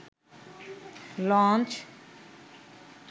launch